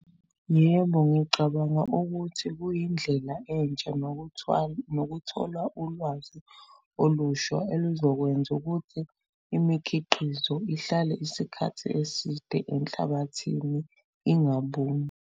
Yebo, ngicabanga ukuthi kuyindlela entsha, nokuthwala, nokuthola ulwazi olusha oluzokwenza ukuthi imikhiqizo ihlale isikhathi eside enhlabathini ingabuni.